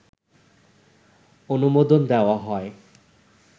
অনুমোদন দেওয়া হয়